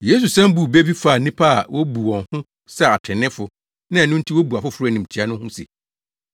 Yesu san buu bɛ bi faa nnipa a wobu wɔn ho sɛ atreneefo na ɛno nti wobu afoforo animtiaa no ho se,